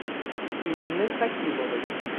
инны хакимовой